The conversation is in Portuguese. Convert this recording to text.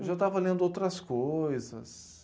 Eu já estava lendo outras coisas.